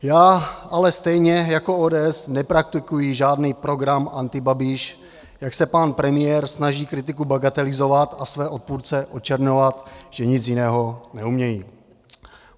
Já ale stejně jako ODS nepraktikuji žádný program antibabiš, jak se pan premiér snaží kritiku bagatelizovat a své odpůrce očerňovat, že nic jiného neumějí.